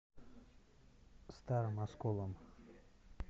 старым осколом